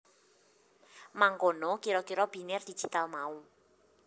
Mangkono kira kira biner digital mau